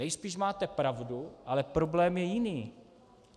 Nejspíš máte pravdu, ale problém je jiný.